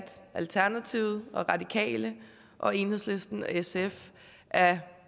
alternativet og radikale og enhedslisten og sf er